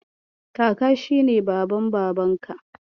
Kaka shi ne Baban Babanka.